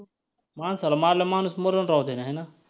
माणसाला मारल्यावर माणूस मरल राव त्याने हाय ना?